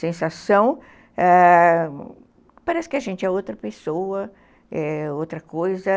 Sensação, ãh, parece que a gente é outra pessoa, outra coisa.